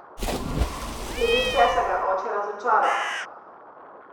Glede česa ga je oče razočaral?